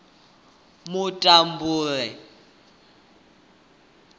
mutambule